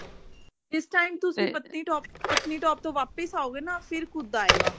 ਇਸ time ਤੁਸੀਂ ਪਨਤੀ top ਪਤਨੀ top ਤੋਂ ਵਾਪਿਸ ਆਓਗੇ ਨਾ ਫਿਰ ਕੁਦ ਆਏਗਾ